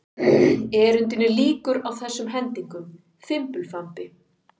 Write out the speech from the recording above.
Erindinu lýkur á þessum hendingum: Fimbulfambi